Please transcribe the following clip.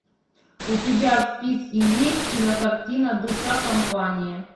у тебя в списке есть кинокартина душа компании